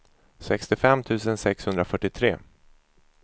sextiofem tusen sexhundrafyrtiotre